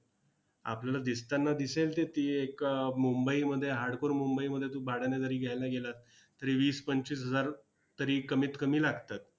आपल्याला दिसताना दिसेल ते ती ए एक मुंबईमध्ये hardcore मुंबईमध्ये तू भाड्यानं जरी घ्यायला गेलास, तरी वीस-पंचवीस हजार तरी कमीत कमी लागतात.